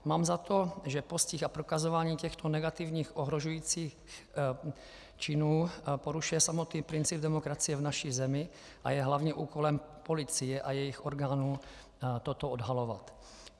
Mám za to, že postih a prokazování těchto negativních ohrožujících činů porušuje samotný princip demokracie v naší zemi a je hlavním úkolem policie a jejích orgánů toto odhalovat.